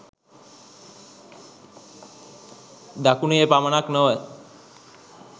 දකුණේ පමණක් නොව